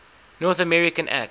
north america act